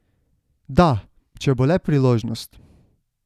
Da, če bo le priložnost.